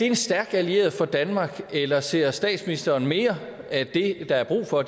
en stærk allieret for danmark eller ser statsministeren mere at det der er brug for